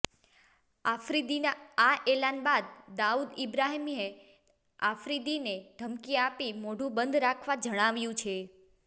આફ્રિદીના આ એલાન બાદ દાઉદ ઇબ્રાહિમે આફ્રિદીને ધમકી આપી મોઢું બંધ રાખવા જણાવ્યું છે